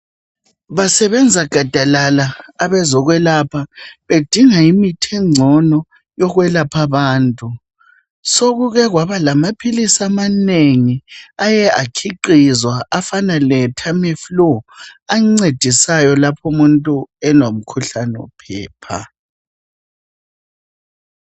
Basebenza gadalala abezokwelapha bedinga imithi engcono yokwelapha abantu. Sokukekwaba lamaphilisi amanengi aye akhiqizwa afana leTamiflue ancedisayo lapho umuntu elomkhuhlane wophepha.